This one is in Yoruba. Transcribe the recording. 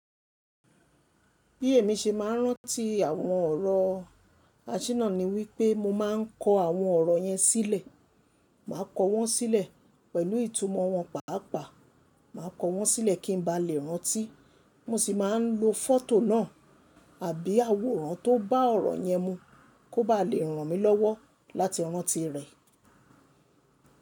Bí èmi ṣe máa ń rántí àwọn ọ̀rọ̀, àṣìná ni wípé mo máa ń kọ àwọn ọ̀rọ̀ yẹn sílẹ̀. Màá kọ wọ́n sílẹ̀ pẹ̀lú ìtumọ̀ wọn pàápàá. Màá kọ wọ́n sílẹ̀ kí n ba lè rántí. Mo sì máa ń lo fọ́tò náà àbí àwòrán tó bá ọ̀rọ̀ yẹn mu kó ba lè ràn mí lọ́wọ́ láti rántí rẹ̀